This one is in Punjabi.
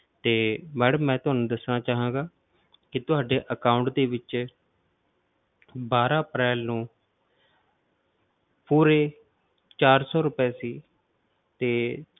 ਤੇ madam ਮੈਂ ਤੁਹਾਨੂੰ ਦੱਸਣਾ ਚਾਹਾਂਗਾ ਕਿ ਤੁਹਾਡੇ account ਦੇ ਵਿੱਚ ਬਾਰਾਂ ਅਪ੍ਰੈਲ ਨੂੰ ਪੂਰੇ ਚਾਰ ਸੌ ਰੁਪਏ ਸੀ ਤੇ